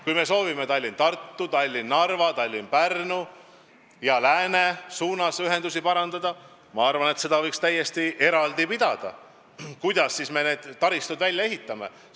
Kui me soovime Tallinna–Tartu, Tallinna–Narva, Tallinna–Pärnu ja lääne suunas ühendusi parandada, siis seda debatti võiks täiesti eraldi pidada, kuidas me siis need taristud välja ehitame.